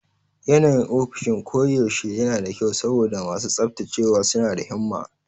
Yanayin ofishin koyaushe yana da kyau saboda masu tsaftacewa suna da himma.